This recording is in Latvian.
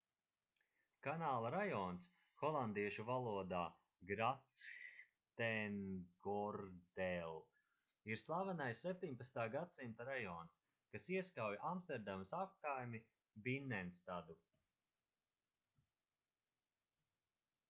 kanāla rajons holandiešu valodā grachtengordel ir slavenais 17. gadsimta rajons kas ieskauj amsterdamas apkaimi binnenstadu